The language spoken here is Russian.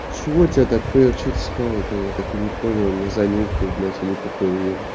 чего тебя так прёт что-то сказал это я так и не понял я занюхал блять или покурил